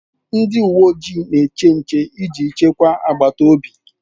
Ndị uwe ojii na-eche nche iji chekwaa agbata obi